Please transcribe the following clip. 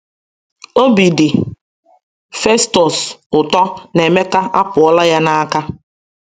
Obi dị Festọs ụtọ na Emeka apụọla ya n’aka.